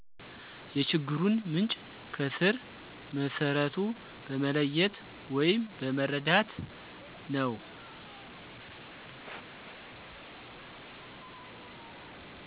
የችግሩን ምንጭ ከስረ መሠረቱ በመለየት ወይም በመረዳት ነው።